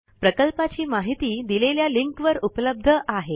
प्रकल्पाची माहिती दिलेल्या लिंकवर उपलब्ध आहे